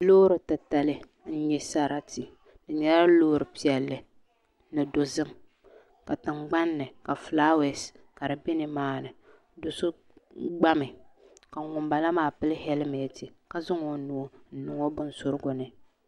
Loori titali n nyɛ sarati di nyɛla loori piɛlli ni dozim ka tingbanni ka fulaawɛs ka di bɛ nimaani do so gbami ka ŋunbala maa pili hɛlmɛnt ka zaŋ o nuu n niŋ o binsurigu ni